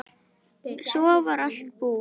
Svo var allt búið.